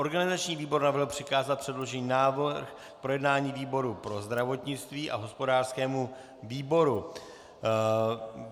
Organizační výbor navrhl přikázat předložený návrh k projednání výboru pro zdravotnictví a hospodářskému výboru.